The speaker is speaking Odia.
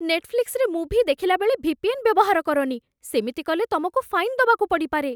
ନେଟଫ୍ଲିକ୍ସରେ ମୁଭି ଦେଖିଲାବେଳେ ଭି.ପି.ଏନ୍. ବ୍ୟବହାର କରନି । ସେମିତି କଲେ ତମକୁ ଫାଇନ୍ ଦବାକୁ ପଡ଼ିପାରେ ।